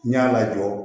N y'a lajɔ